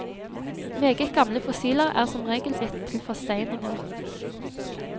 Meget gamle fossiler er som regel blitt til forsteininger.